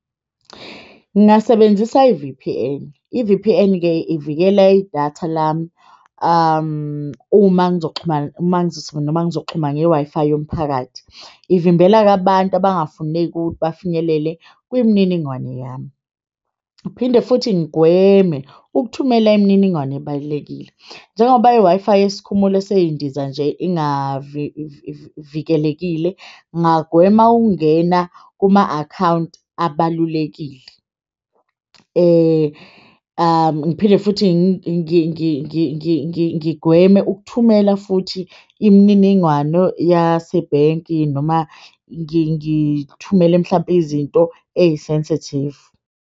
Ngingasebenzisa i-V_P_N, i-V_P_N-ke ivikela idatha lami, uma ngizoxhumana ngizoxhuma nge-Wi-Fi yomphakathi. Ivimbela-ke abantu abafuneki ukuthi bafinyelele kwimininingwane yami. Ngiphinde futhi ngigweme ukuthumela imininingwane ebalulekile njengoba i-Wi-Fi yesikhumulo sezindiza nje ingavikeleka. Ngingagwema ukungena kuma akhawunti abalulekile. Ngiphinde futhi ngigweme ukuthumela futhi imininingwano yasebhenki noma ngithumele mhlampe izinto eyi-sensitive.